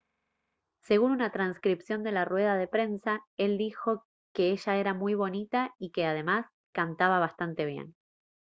según una transcripción de la rueda de prensa él dijo «que ella era muy bonita y que además cantaba bastante bien»